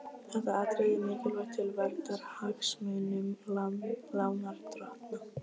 Þetta atriði er mikilvægt til verndar hagsmunum lánardrottna.